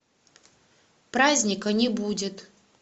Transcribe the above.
праздника не будет